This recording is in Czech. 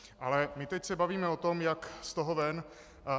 Ale my se teď bavíme o tom, jak z toho ven.